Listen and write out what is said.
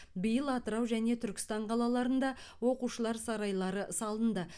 биыл атырау және түркістан қалаларында оқушылар сарайлары салынды